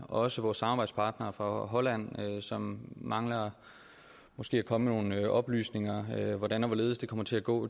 også vores samarbejdspartnere fra holland mangler måske at komme med nogle oplysninger hvordan og hvorledes det kommer til at gå